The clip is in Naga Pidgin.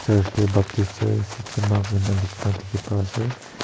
church tae baptist church sechama koina likhina dikhipaase.